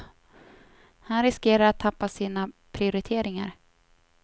Han riskerar att tappa sina prioriteringar.